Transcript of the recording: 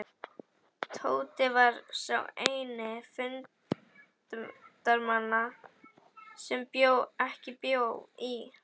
Tóti var sá eini fundarmanna sem ekki bjó í